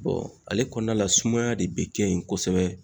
ale kɔnɔna la sumaya de bi kɛ yen kosɛbɛ